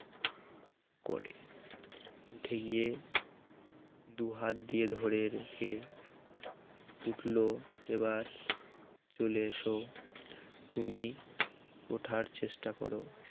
উঠে গিয়ে দুহাত দিয়ে ধরে রেখে উঠল এবার চলে এসো তুমি ওঠার চেষ্টা করো